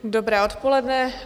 Dobré odpoledne.